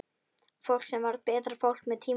Fólk sem varð betra fólk með tímanum.